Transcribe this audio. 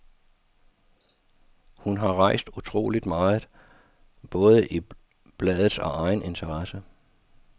Hun har rejst utroligt meget, både i bladets og egen interesse.